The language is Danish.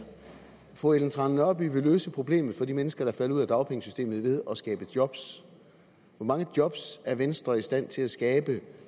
fru ellen trane nørby vil løse problemet for de mennesker der er faldet ud af dagpengesystemet ved at skabe job hvor mange job er venstre i stand til at skabe